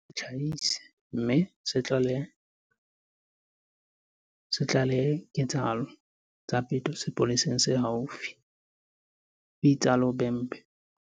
"Re kopa setjhaba ho re se itlhahise mme se tlalehe diketsahalo tsa peto sepoleseng se haufi," ho itsalo Bhembe.